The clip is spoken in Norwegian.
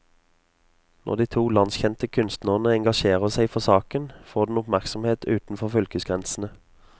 Når de to landskjente kunstnerne engasjerer seg for saken, får den oppmerksomhet utenfor fylkesgrensene.